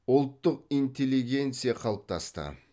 ұлттық интеллигенция қалыптасты